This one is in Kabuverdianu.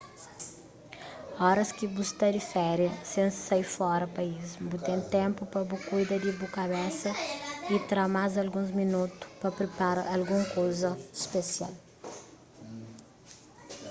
oras ki bu sta di féria sen sai fora país bu ten ténpu pa bu kuida di bu kabesa y tra más alguns minotu pa pripara algun kuza spesial